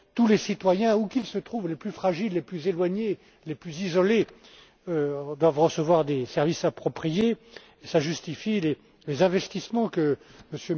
Tous les citoyens où qu'ils se trouvent, les plus fragiles, les plus éloignés, les plus isolés doivent recevoir des services appropriés et cela justifie les investissements que